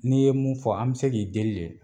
N'i ye mun fɔ an bɛ se k'i deli de.